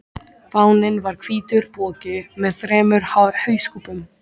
Fáninn var hvítur poki með þremur hauskúpum.